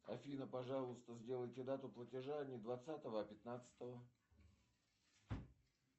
афина пожалуйста сделайте дату платежа не двадцатого а пятнадцатого